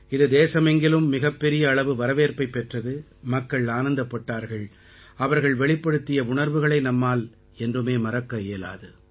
இது தேசமெங்கிலும் மிகப் பெரிய அளவு வரவேற்பைப் பெற்றது மக்கள் ஆனந்தப்பட்டார்கள் அவர்கள் வெளிப்படுத்திய உணர்வுகளை நம்மால் என்றுமே மறக்க இயலாது